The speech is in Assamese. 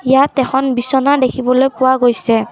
ইয়াত এখন বিছনা দেখিবলৈ পোৱা গৈছে।